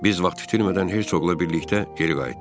Biz vaxt itirmədən Hertsogla birlikdə geri qayıtdıq.